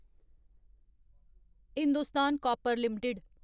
Hindustan copper limited